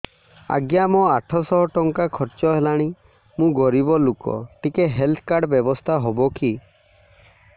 ଆଜ୍ଞା ମୋ ଆଠ ସହ ଟଙ୍କା ଖର୍ଚ୍ଚ ହେଲାଣି ମୁଁ ଗରିବ ଲୁକ ଟିକେ ହେଲ୍ଥ କାର୍ଡ ବ୍ୟବସ୍ଥା ହବ କି